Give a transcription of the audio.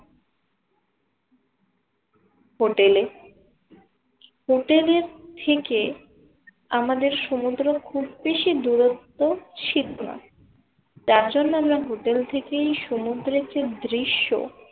হোটেলে হোটেলের থেকে আমাদের সমুদ্র খুব বেশি দূরত্ব ছিলো না। তার জন্য আমরা hotel থেকেই সমুদ্রের যে দৃশ্য